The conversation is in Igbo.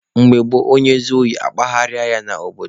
Mgbe gboo, onye zuo ohi, akpụgharịa ya n'obodo.